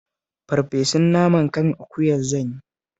Farfesun naman kan akuya zan yi